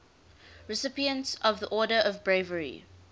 recipients of the order of bravery